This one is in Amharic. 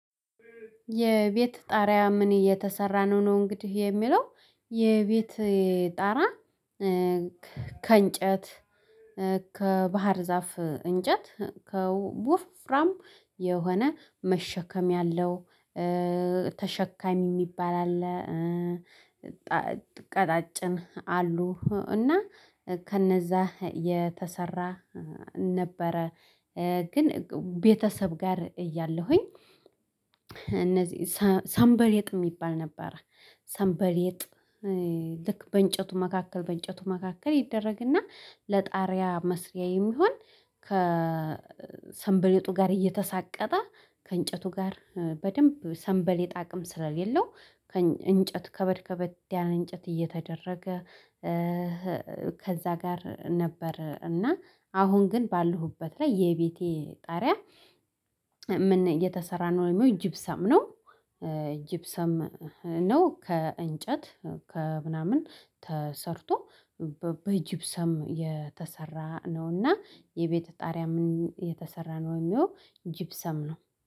የቤት ጣሪያ ምን የተሰራ ነው? ነው እንግዲህ የሚለው የቤቴ ጣራ ከእንጨት ከባህር ዛፍ እንጨት ከው ቡ ወፈፍራም የሆነ መሸከም ያለው ተሸካሚ የሚባል አለ ቀጣጭን አሉ እና ከነዛ የተሰራ ነበረ ግን ቤተሰብ ጋር እያለሁኝ እነዚህ ሰምበ ሰምበሌጥ የሚባል ነበረ ሰምበሌጥ ልክ በእንጨቱ መካከል በእንጨቱ መካከል ይደረግና ለጣሪያ መስሪያ የሚሆን ከሰንበሌጡ ጋር እየተሳቀጠ ከእንጨቱ ጋር በደንብ ሰንበሌጥ አቅም ስለሌለው እንጨት ከበድ ከበድ ያለ እንጨት እየተደረገ ከዛ ጋር ነበር እና አሁን ግን ባለሁበት ላይ የቤቴ ጣሪያ የተሰራነው ወይም ጅብሳም ነው ጅብሰም ነው ከእንጨት ከምናምን ተሰርቶ በጅብ ሰም የተሰራ ነውና የቤቴ ጣሪያ ምን የተሰራ ነው ወይም ይሄው ጅብ ሰም ነው